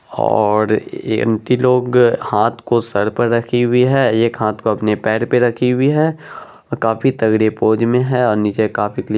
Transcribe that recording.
और ये आंटी लोग हाथ को सर पे रखी हुई है एक हाथ को अपने पैर पे रखी हुई है और काफी तगड़ी पोज में है और नीचे काफी--